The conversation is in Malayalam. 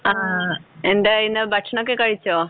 ങ്ഹാ. എന്തായി പിന്നെ? ഭക്ഷണമൊക്കെ കഴിച്ചോ?